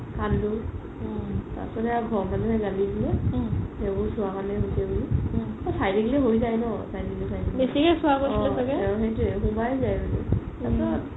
কান্দো তাৰ পিছত সেয়া ঘৰৰ মানুহে গালি দিলে সেইবোৰ চোৱা কাৰণে হৈছে বুলি চাই থাকিলে হয় যাই ন চাই থাকিলে চাই থাকিলে অ সেইটোৱে সোমাই যাই মানে